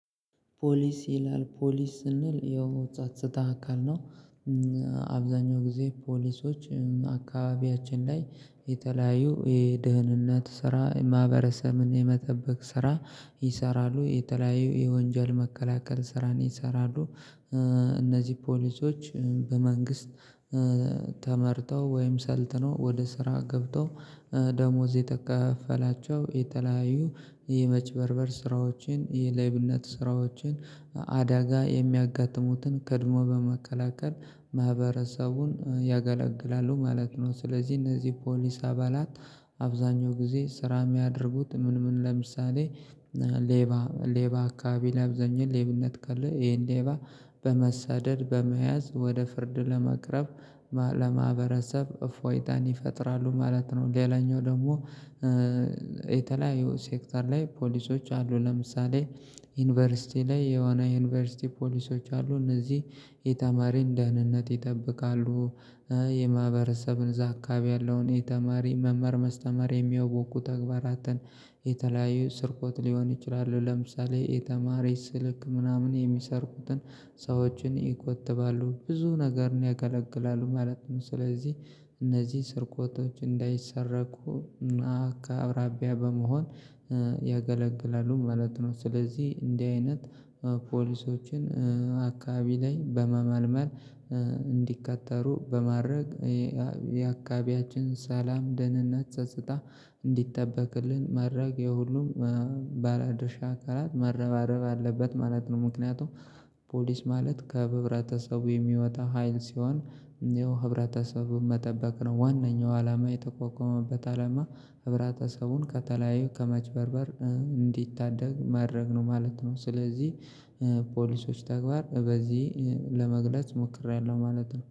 ፖሊስ ይላል ፖሊስ ስንል ያው ጻጻታ አካል ነው። አብዛኛው ጊዜ ፖሊሶች አካባቢያችን ላይ የተለያዩ የደህንነት ስራ ማህበረሰብን የመጠበቅ ስራ ይሰራሉ የተለያዩ የወንጀል መከላከል ስራን ይሰራሉ። እነዚህ ፖሊሶች በመንግስት ተመርተው ወይም ሰልጥነው ወደ ስራ ገብተው ደሞዝ እየተከፈላቸው የተለያዩ የመጭበርበር ስራዎችን የሌብነት ስራዎችን አዳጋ የሚያጋጥሙትን ቀድሞ በመከላከል ማህበረሰቡን ያገላግላሉ ማለት ነው። ስለዚህ እነዚህ ፖሊስ አባላት አብዛኛው ጊዜ ስራ የሚያደርጉት ምን? ምን ለምሳሌ ሌባ ሌባ አካባቢ ለብዛኛው ሌብነት ካለ ይሄን ሌባ በመሰደድ በመያዝ ወደ ፍርድ ለማቅረብ ለማህበረሰብ እፎይታን ይፈጥራሉ። ማለት ነው። ሌላኛው ደግሞ የተለያየው ሴክተር ላይ ፖሊሶች አሉ። ለምሳሌ ዩኒቨርሲቲ ላይ የሆና ዩኒቨርሲቲ ፖሊሶች አሉ። እነዚህ የተማሪን ደህንነት ይጠብቃሉ። የማህበረሰብን እዛ አካባቢ ያለውን የተማሪ መማር ማስተማር የሚያውኩ ተግባራትን የተለያዩ ስርቅት ሊሆን ይችላል። ለምሳሌ የተማረች ስልክ ምናምን የሚሰርቁትን ሰዎችን ይቆትጥሉ ብዙ ነገር ነው ያገለገላሉ ማለት ነው። ስለዚህ እነዚህ ስርቆቶች እንዳይሰረቁ እና ከአቅራቢያ በመሆን ያገለግላሉ ማለት ነው። ስለዚህ እንዲህ አይነት ፖሊሶችን አካባቢ ላይ በመመልመል እንዲቀጠሩሉ በማድረግ የአካባቢያችን ሰላም ደህንነት ጸጽታ እንዲጠበቅልን መድረግ የሁሉም ባለአድርሻ አካላት መረባረባረብ አለበት ማለት ነው። ምክንያቱም ፖሊስ ማለት ከህብረተሰቡ የሚወጣ ሀይል ሲሆን ያው ህብረተሰቡን መጠበቅ ነው ዋናው አላማ የተቋቋመበት አላማ ህብረተሰቡን ከተለያዩ ከመጭበርበር እንዲታደግ ማድረግ ነው ማለት ነው። ስለዚህ የፖሊሶች ተግባር በዚህ ለመግለጽ ሞክሬያለሁ ማለት ነው።